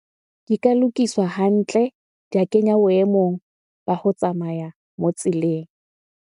Ke ka lokiswa hantle, di a kenya boemong ba ho tsamaya moo tseleng.